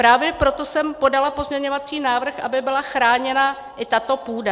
Právě proto jsem podala pozměňovací návrh, aby byla chráněna i tato půda.